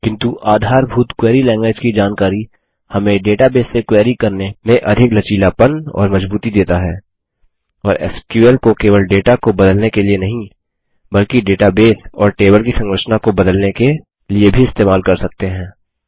किन्तु आधारभूत query language की जानकारी हमें डेटाबेस से क्वेरी करने में अधिक लचीलापन और मजबूती देता है और एसक्यूएल को केवल डेटा को बदलने के लिए नहीं बल्कि डेटाबेस और टेबल की संरचना को बदलने के लिए भी इस्तेमाल कर सकते हैं